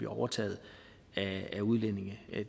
overtaget af udlændinge